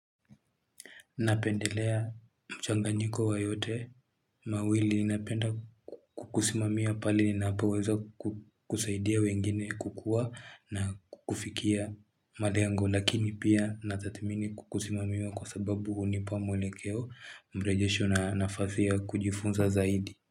Napendelea mchanganyiko wa yote, mawili napenda kukusimamiwa pale ninapoweza kusaidia wengine kukua na kufikia malengo lakini pia natathimini kukusimamiwa kwa sababu hunipa mwelekeo mrejesho na nafasi ya kujifunza zaidi.